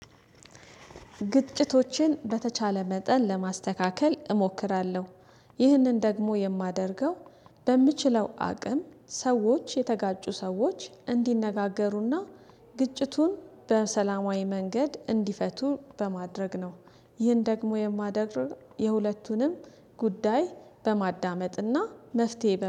ግጭቶችን በተቻለ መጠን ለማስተካከል እሞክራለሁ። ይህንን ደግሞ የማደርገው በምችለው አቅም ሰዎች የተጋጩ ሰዎች እንዲነጋገሩና ግጭቱን በሰላማዊ መንገድ እንዲፈቱ በማድረግ ነው። ይህን ደግሞ የማደርግ የሁለቱንም ጉዳይ በማዳመጥና መፍትሄ